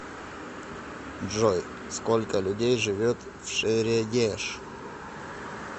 джой сколько людей живет в шерегеш